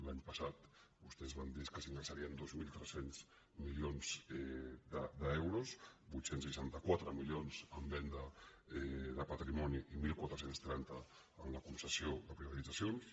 l’any passat vostès van dir que s’ingressarien dos mil tres cents milions d’euros vuit cents i seixanta quatre milions en venda de patrimoni i catorze trenta amb la concessió de privatitzacions